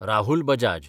Rahul Bajaj